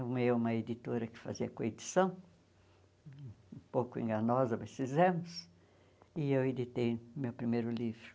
Eu, uma editora que fazia coedição, um pouco enganosa, mas fizemos, e eu editei meu primeiro livro.